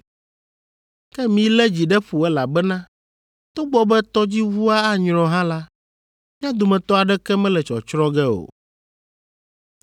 Ke milé dzi ɖe ƒo elabena togbɔ be tɔdziʋua anyrɔ hã la, mía dometɔ aɖeke mele tsɔtsrɔ̃ ge o.